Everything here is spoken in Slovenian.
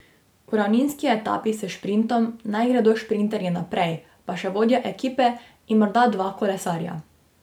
V ravninski etapi s šprintom naj gredo šprinterji naprej, pa še vodja ekipe in morda dva kolesarja.